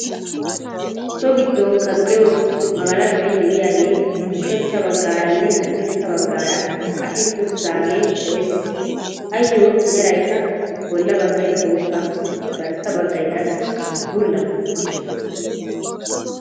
So giddon kaqqiyoo magalashoy de"iyaagee ushachcha baggaaranne haddirssa baggaara qashetti uttidaage de'ees. Ayyo meraykka bolla baggay bootta garssa baggay qassi bulla.